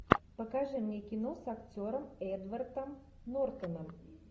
покажи мне кино с актером эдвардом нортоном